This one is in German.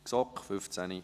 GSoK, 15.45 Uhr.